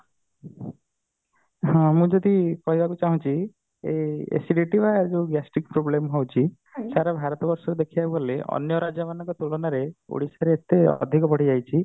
ହଁ ମୁଁ ଯଦି କହିବାକୁ ଚାହୁଁଛି acidity ବା ଯୋଉ gastric problem ହଉଛି ସାରା ଭାରତ ବର୍ଷରେ ଦେଖିବାକୁ ଗଲେ ଅନ୍ୟ ରାଜ୍ୟ ମାନଙ୍କ ତୁଳନାରେ ଓଡିଶାରେ ତ ଅଧିକ ବଢିଯାଇଛି